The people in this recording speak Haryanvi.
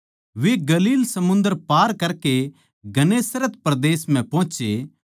वे गलील समुन्दर पार करके गन्नेसरत परदेस म्ह पोहोचे